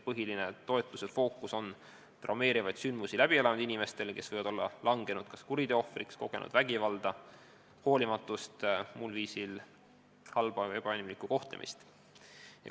Põhiline toetuse fookus on suunatud inimestele, kes on langenud kuriteo ohvriks, kogenud vägivalda, hoolimatust või muul viisil halba või ebainimlikku kohtlemist.